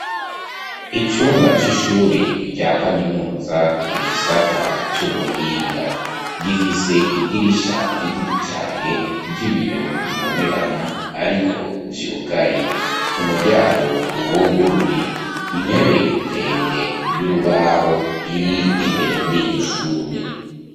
Icumba c'ishure rya kaminuza igisata vy'ubuhinga gifise idirisha riniri cane ry'ibiyo bibonerana, ariko vyugaye umuryango uwuguruye intebe ndende y'urubaho iri imbere muri iryo shuri ure.